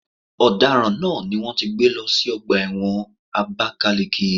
Ọ̀daràn náà ni wón ti gbé lọ sí ọgbà ẹ̀wọ̀n Abakaliki.